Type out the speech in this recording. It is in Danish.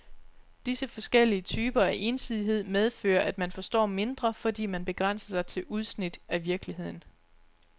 Disse forskellige typer af ensidighed medfører, at man forstår mindre, fordi man begrænser sig til udsnit af virkeligheden.